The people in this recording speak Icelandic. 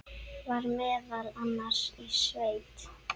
Var meðal annars í sveit.